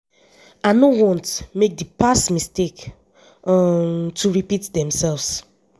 i no want make di past mistakes um to repeat themselves.